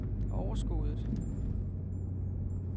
overskuddet